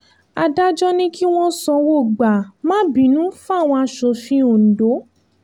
adájọ́ ní kí wọ́n sanwó gbà má bínú fáwọn asòfin ondo